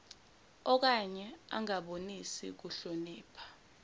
okanye angabonisi kuhlonipha